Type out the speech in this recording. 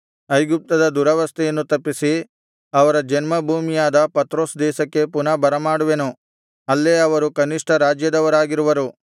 ಐಗುಪ್ತದ ದುರವಸ್ಥೆಯನ್ನು ತಪ್ಪಿಸಿ ಅವರ ಜನ್ಮ ಭೂಮಿಯಾದ ಪತ್ರೋಸ್ ದೇಶಕ್ಕೆ ಪುನಃ ಬರಮಾಡುವೆನು ಅಲ್ಲೇ ಅವರು ಕನಿಷ್ಠ ರಾಜ್ಯದವರಾಗಿರುವರು